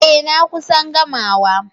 Eh. na kusan gama